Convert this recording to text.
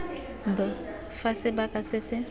b fa sebaka se se